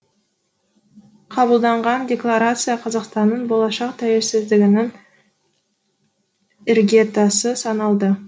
қабылданған декларация қазақстанның болашақ тәуелсіздігінің іргетасы саналды